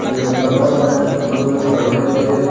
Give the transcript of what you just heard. এ দোকানো অনেক সুন্দর করি তারিয়ার মদ্যে--